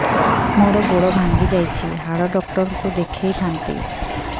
ମୋର ଗୋଡ ଭାଙ୍ଗି ଯାଇଛି ହାଡ ଡକ୍ଟର ଙ୍କୁ ଦେଖେଇ ଥାନ୍ତି